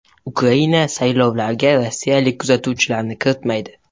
Ukraina saylovlariga rossiyalik kuzatuvchilarni kiritilmaydi.